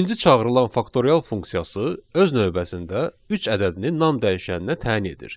İkinci çağırılan faktorial funksiyası öz növbəsində üç ədədini non dəyişəninə təyin edir